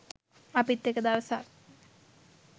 අපිත් එක දවසක්